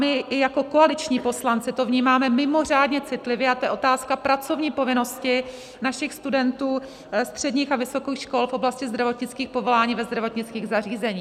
My jako koaliční poslanci to vnímáme mimořádně citlivě, a to je otázka pracovní povinnosti našich studentů středních a vysokých škol v oblasti zdravotnických povolání ve zdravotnických zařízeních.